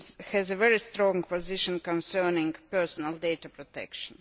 has a very strong position concerning personal data protection.